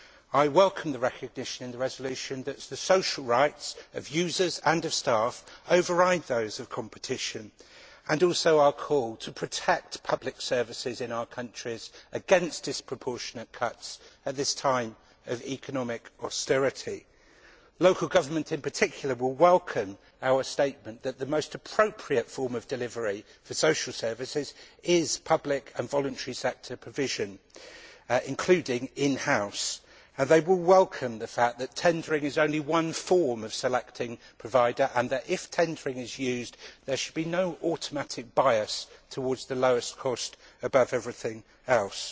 I welcome the recognition in the resolution that the social rights of users and of staff override those of competition, and also our call to protect public services in our countries against disproportionate cuts at this time of economic austerity. Local government in particular will welcome our statement that the most appropriate form of delivery for social services is public and voluntary sector provision, including in house. They will welcome the fact that tendering is only one form of selecting a provider and that, if tendering is used, there should be no automatic bias towards the lowest cost above everything else.